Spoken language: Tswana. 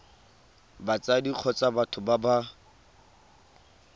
batsadi kgotsa batho ba ba